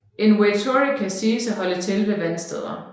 En waitoreke siges at holde til ved vandsteder